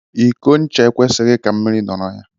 Iko ncha e kwesịghị ka mmiri nọrọ ya.